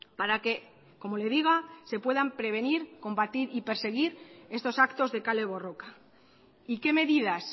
para que como le diga se puedan prevenir combatir y perseguir estos actos de kale borroka y qué medidas